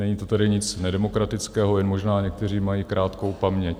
Není to tady nic nedemokratického, jen možná někteří mají krátkou paměť.